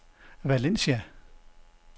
Valencia